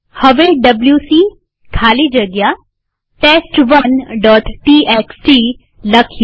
હવે ડબ્લ્યુસી ખાલી જગ્યા test1ટીએક્સટી લખીએ